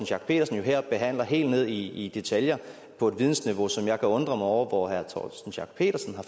schack pedersen jo her behandler helt ned i detaljer på et vidensniveau som jeg kan undre mig over hvor herre torsten schack pedersen har